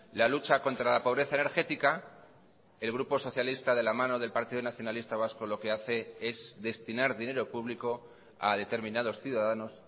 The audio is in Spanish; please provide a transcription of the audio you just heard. la lucha contra la pobreza energética el grupo socialista de la mano del partido nacionalista vasco lo que hace es destinar dinero público a determinados ciudadanos